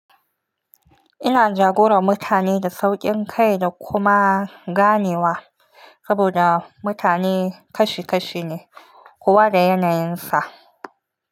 Ina jagora mutane da sauƙin kai da kuma ganewa saboda mutane kashi kashi ne kowa da yanayinsa.